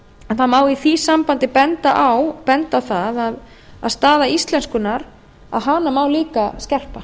það má í því sambandi benda á það að stöðu íslenskunnar má líka skerpa